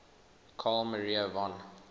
carl maria von